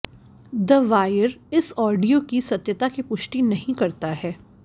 the wire इस audio की सत्यता की पुष्टि नहीं करता है